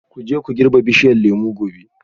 Ku je ku girbi bishiyar lemu gobe